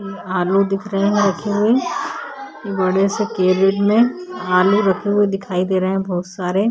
ये आलू दिख रहे है रखे हुए बड़े से केबिन में आलू रखे हुए दिखाई दे रहे है बहुत सारे।